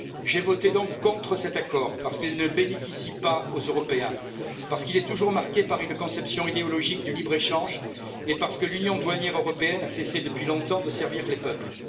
J'ai voté contre cet accord, parce qu'il ne bénéficie pas aux Européens, parce qu'il est toujours marqué par une conception idéologique du libre échange et parce que l'union douanière européenne a cessé depuis longtemps de servir les peuples.